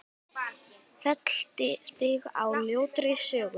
Felldi þig á ljótri sögu.